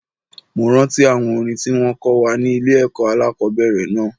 Mo rántí àwọn orin tí wón kọ́ wa ní ilé ẹ̀kọ́ alákòbẹ̀rẹ̀ náà.